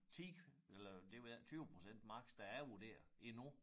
10 eller det ved jeg ikke 20 procent maks der er vurderet endnu